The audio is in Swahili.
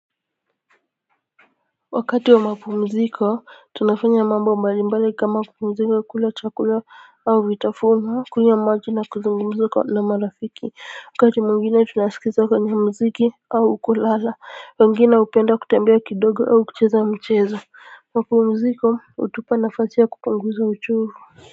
Wakati wa mapumziko tunafanya mambo mbalimbali kama kupumzika kula chakula au vitaforma kunywa maji na kuzungumza na marafiki wakati mwingine tunasikiza kwenye mziki au kulala wangine hupenda kutembea kidogo au kucheza mchezo mapumziko hutupa nafasi ya kupunguza uchovu.